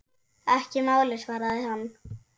Ekki málið, svaraði hann.